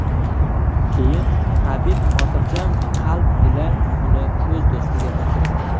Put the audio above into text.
Keyin Habib xotirjam qalb ila uni o‘z do‘stiga topshiradi.